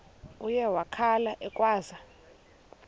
uye wakhala ekhwaza